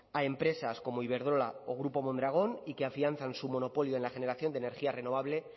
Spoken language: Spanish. a empresas como iberdrola o grupo mondragón y que afianzan su monopolio en la generación de energía renovable